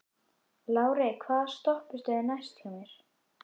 Lárey, hvaða stoppistöð er næst mér?